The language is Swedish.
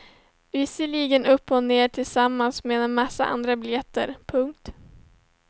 Visserligen upp och ner och tillsammans med en massa andra biljetter. punkt